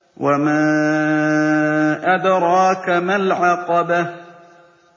وَمَا أَدْرَاكَ مَا الْعَقَبَةُ